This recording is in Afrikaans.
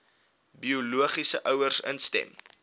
biologiese ouers instem